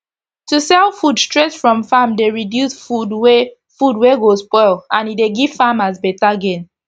to sell food straight from farm dey reduce food wey food wey go spoil and e dey give farmers beta gain